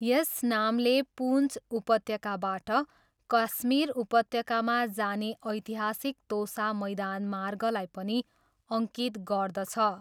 यस नामले पुन्च उपत्यकाबाट कश्मीर उपत्यकामा जाने ऐतिहासिक तोसा मैदान मार्गलाई पनि अङ्कित गर्दछ।